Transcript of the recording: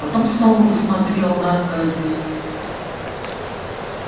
потом снова посмотрел на аркадия